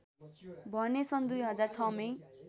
भने सन् २००६ मै